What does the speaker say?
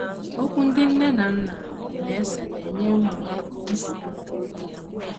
Okwu ndị nne na nna na - ese na - enye ụmụ ha nsogbu nke ukwuu.